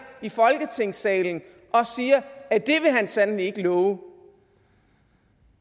i folketingssalen og siger at det vil han sandelig ikke love